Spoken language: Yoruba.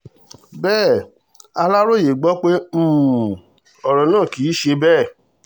bẹ́ẹ̀ aláròye gbọ́ pé um ọ̀rọ̀ náà kì í ṣe bẹ́ẹ̀